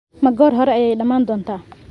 Ma goor hore ayay dhammaan doontaa?